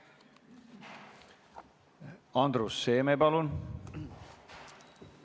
Andrus Seeme, palun!